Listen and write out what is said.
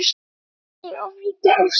Alda í ofríki ástar.